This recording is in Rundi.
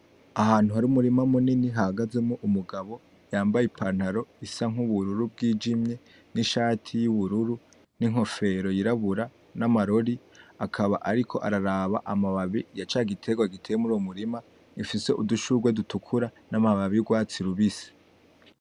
Ahantu hari umurima munini hahagazemwo umugabo yambaye ipantaro isa nk'ubururu bwijimye n'ishati y'ubururu n'inkofero yirabura n'amarori akaba ariko araba amababi ya cagiterwa giteye muri uwo murima ufise udushurwe dutukura n'amababi y'urwatsi rubisi.